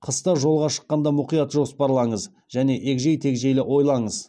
қыста жолға шыққанда мұқият жоспарлаңыз және егжей тегжейлі ойлаңыз